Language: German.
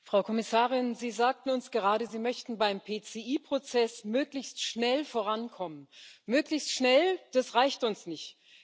Herr Präsident! Frau Kommissarin, Sie sagten uns gerade, Sie möchten beim PCI Prozess möglichst schnell vorankommen. Möglichst schnell das reicht uns nicht.